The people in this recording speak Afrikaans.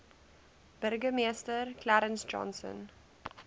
burgemeester clarence johnson